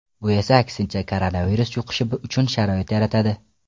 Bu esa aksincha, koronavirus yuqishi uchun sharoit yaratadi.